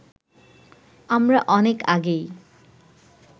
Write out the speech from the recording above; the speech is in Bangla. আমরা অনেক আগেই